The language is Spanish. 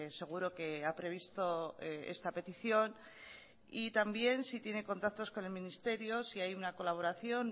seguro que ha previsto esta petición y también si tiene contactos con el ministerio si hay una colaboración